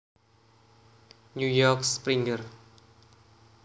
New York Springer